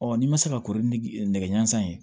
n'i ma se ka kori ni nɛgɛ ɲɛnsan ye